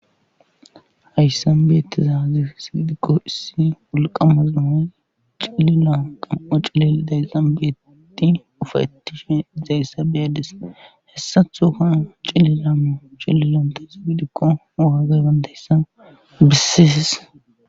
Hayssanbeetti zaazi sibidikko issi ulqamazamoy cilila qam7o cili dayzambetti ufatishe zayssa biyadis hessathuka cililamo cillilanta sigidikko ogagay bandayssa bissiis